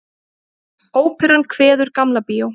Óperan kveður Gamla bíó